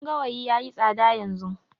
Buhun gawayi yayi tsada yanzu